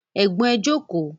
Ẹ̀gbọ́n ẹ jókòó